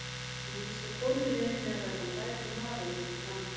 Hann var víst á góðri leið með að verða frægur maður þar í landi.